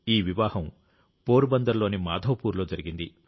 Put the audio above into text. ఈ వివాహం పోరుబందర్లోని మాధవపూర్లో జరిగింది